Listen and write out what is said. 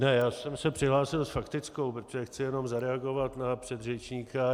Ne, já jsem se přihlásil s faktickou, protože chci jenom zareagovat na předřečníka.